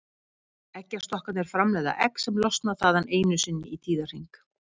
Eggjastokkarnir framleiða egg sem losna þaðan einu sinni í tíðahring.